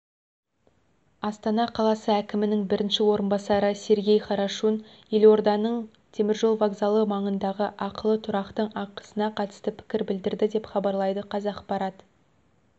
астана қаласы әкімінің бірінші орынбасары сергей хорошун елорданың теміржол вокзалы маңындағы ақылы тұрақтың ақысына қатысты пікір білдірді деп хабарлайды қазақпарат